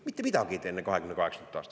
Mitte midagi ei tee enne 2028. aastat.